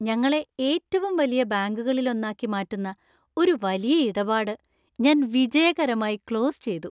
ഞങ്ങളെ ഏറ്റവും വലിയ ബാങ്കുകളിലൊന്നാക്കി മാറ്റുന്ന ഒരു വലിയ ഇടപാട് ഞാൻ വിജയകരമായി ക്ലോസ് ചെയ്തു.